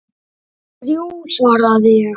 Þrjú, svaraði ég.